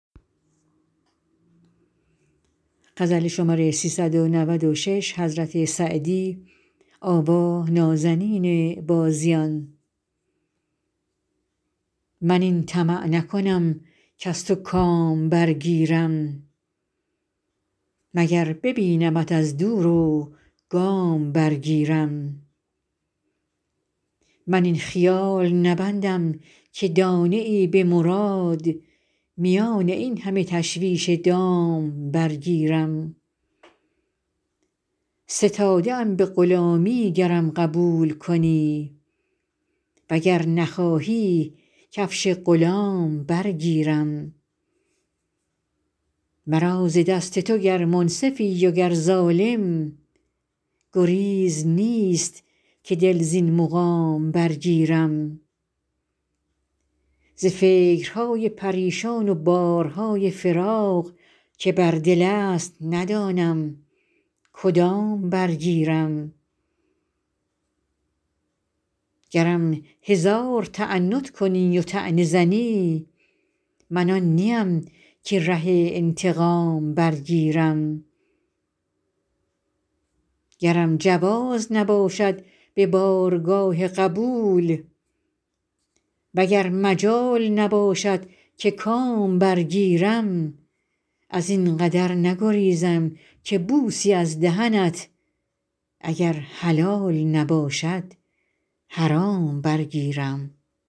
من این طمع نکنم کز تو کام برگیرم مگر ببینمت از دور و گام برگیرم من این خیال نبندم که دانه ای به مراد میان این همه تشویش دام برگیرم ستاده ام به غلامی گرم قبول کنی و گر نخواهی کفش غلام برگیرم مرا ز دست تو گر منصفی و گر ظالم گریز نیست که دل زین مقام برگیرم ز فکرهای پریشان و بارهای فراق که بر دل است ندانم کدام برگیرم گرم هزار تعنت کنی و طعنه زنی من آن نیم که ره انتقام برگیرم گرم جواز نباشد به بارگاه قبول و گر مجال نباشد که کام برگیرم از این قدر نگریزم که بوسی از دهنت اگر حلال نباشد حرام برگیرم